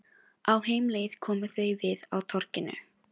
Á heimleið komu þau við á torginu.